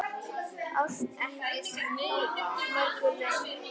Árstíð þó á mörgu lumar.